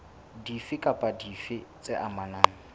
dife kapa dife tse amanang